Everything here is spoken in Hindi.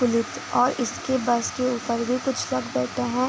और इसके बस के ऊपर भी लोग बैठे हैं।